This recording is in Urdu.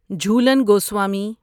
جھولن گوسوامی